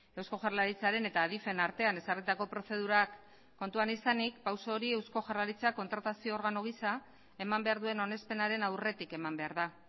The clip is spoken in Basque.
eusko jaurlaritzaren eta adifen artean ezarritako prozedurak kontuan izanik pausu hori eusko jaurlaritzak kontratazio organo gisa eman behar duen onespenaren aurretik eman behar da